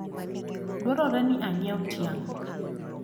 dwarore ni anyiewu tiang`